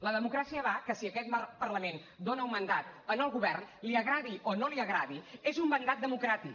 la democràcia va que si aquest parlament dona un mandat al govern li agradi o no li agradi és un mandat democràtic